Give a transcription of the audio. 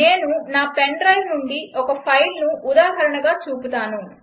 నేను నా pen drive నుండి ఒక ఫైల్ను ఉదాహరణగా చూపుతాను